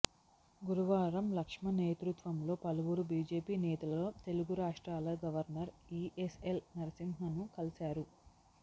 గురువారం లక్ష్మణ్ నేతృత్వంలో పలువురు బీజేపీ నేతలు తెలుగు రాష్ట్రాల గవర్నర్ ఈఎస్ఎల్ నరసింహన్ను కలిశారు